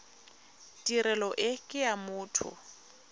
tirelo e ke ya motho